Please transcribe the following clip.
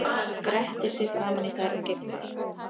Grettir sig framan í þær og geiflar.